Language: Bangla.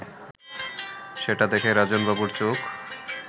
সেটা দেখে রাজনবাবুর চোখ